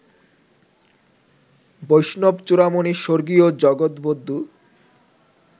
"বৈষ্ণব-চূড়ামণি স্বর্গীয় জগদ্বদ্ধু